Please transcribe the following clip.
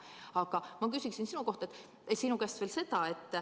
Aga ma küsiksin sinu käest veel seda.